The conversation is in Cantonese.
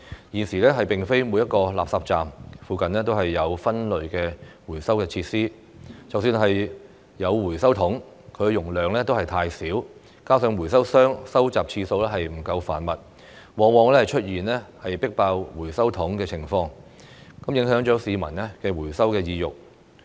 現時並非每個垃圾站附近都有分類回收設施，即使有回收桶，其容量亦太小，加上回收商收集次數不夠頻密，往往出現"迫爆"回收桶的情況，影響市民的回收意欲。